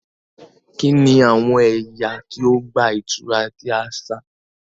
Kini awọn ẹya ti ọgba-ìturá ti aṣa?